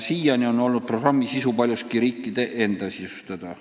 Siiani on programmi sisu olnud paljuski riikide enda otsustada.